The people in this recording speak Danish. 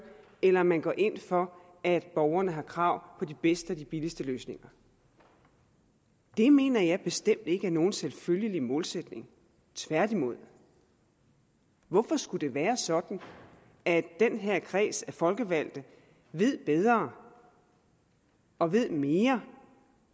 eller om man går ind for at borgerne har krav på de bedste og de billigste løsninger det mener jeg bestemt ikke er nogen selvfølgelig modsætning tværtimod hvorfor skulle det være sådan at den her kreds af folkevalgte ved bedre og ved mere